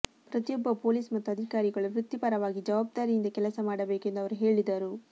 ಪ್ರತಿಯೊಬ್ಬ ಪೊಲೀಸ್ ಮತ್ತು ಅಧಿಕಾರಿಗಳು ವೃತ್ತಿ ಪರವಾಗಿ ಜವಾಬ್ದಾರಿಯಿಂದ ಕೆಲಸ ಮಾಡಬೇಕೆಂದು ಅವರು ಹೇಳಿದರು